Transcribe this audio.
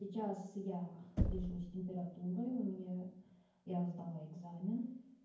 сейчас я лежу с температурой у меня я сдала экзамен